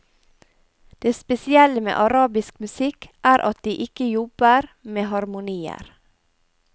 Det spesielle med arabisk musikk er at de ikke jobber med harmonier.